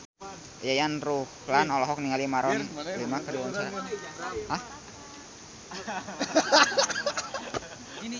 Yayan Ruhlan olohok ningali Maroon 5 keur diwawancara